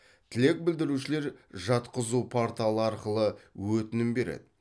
тілек білдірушілер жатқызу порталы арқылы өтінім береді